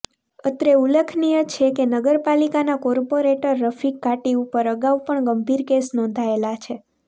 અત્રે ઉલ્લેખનીય છે કે નગરપાલિકાના કોર્પોરેટર રફીક ઘાટી ઉપર આગઉ પણ ગંભીર કેસ નોંધાયેલા છે